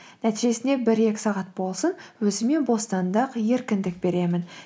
нәтижесінде бір екі сағат болсын өзіме бостандық еркіндік беремін